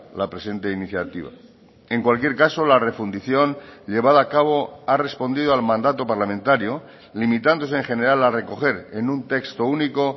la presente iniciativa en cualquier caso la refundición llevada a cabo ha respondido al mandato parlamentario limitándose en general ha recoger en un texto único